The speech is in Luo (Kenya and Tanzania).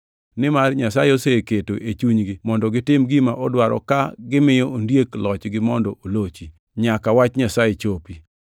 Nimar Nyasaye oseketo e chunygi mondo gitim gima odwaro ka gimiyo ondiek lochgi mondo olochi, nyaka wach Nyasaye chopi.